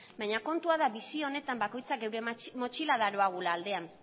baina kontua da bizi honetan gure motxila daroagula aldean